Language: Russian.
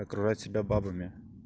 окружать себя бабами